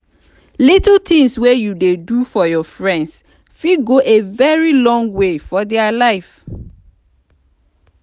little things wey you do for your friends fit go a very long way for their life